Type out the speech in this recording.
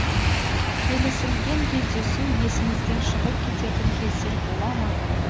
келісілген кездесу есіңізден шығып кететін кездер бола ма